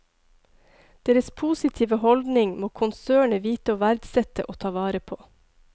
Deres positive holdning må konsernet vite å verdsette og ta vare på.